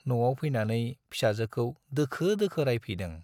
न'आव फैनानै फिसाजोखौ दोखो दोखो रायफैदों।